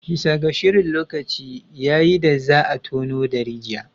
Bisa ga shirin, lokaci ya yi da za a tono da rijiya